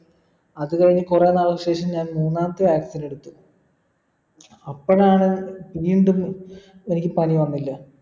അത് കഴിഞ്ഞ് കുറെ നാൾക്ക് ശേഷം ഞാൻ മൂന്നാമത്തെ vaccine എടുത്തു അപ്പളാണ് വീണ്ടും എനിക് പനി വന്നില്ല